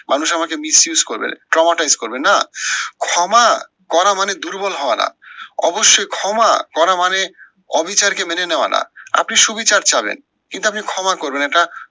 মানুষ আমাকে misuse করবে traumatize করবে না। ক্ষমা করা মানে দুর্বল হওয়া না, অবশ্যই ক্ষমা করা মানে অবিচারকে মেনে নেয়া না। আপনি সুবিচার চাবেন, কিন্তু আপনি ক্ষমা করবেন না এটা